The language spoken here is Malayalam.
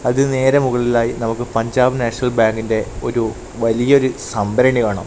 അതിന് നേരെ മുകളിലായി നമുക്ക് പഞ്ചാബ് നാഷണൽ ബാങ്കിന്റെ ഒരു വലിയ ഒരു സംരണി കാണാം.